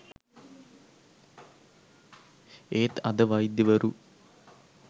ඒත් අද වෛද්‍යවරු